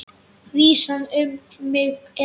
Vísan um mig er svona: